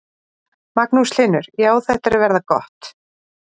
Magnús Hlynur: Já, þetta er að verða gott?